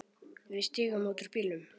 Við stigum út úr bílnum.